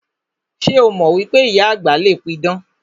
Ṣé o mọ wípé ìyá àgbà le pidàn?